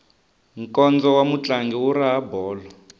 nkondzo wa mutlangi wu raha bolo